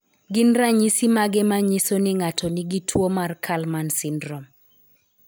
Gin ranyisi mage manyiso ni ng'ato nigi tuwo mar Kallmann syndrome ?